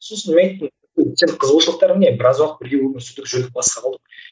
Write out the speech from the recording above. сосын мені айттым сенің қызығушылықтарың не біраз уақыт бірге өмір сүрдік жүрдік басқа қылдық